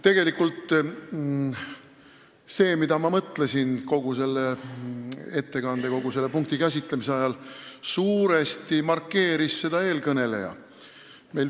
Tegelikult seda, mida ma mõtlesin kogu selle punkti käsitlemise ajal, markeeris suuresti eelkõneleja.